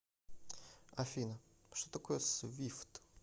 афина что такое свифт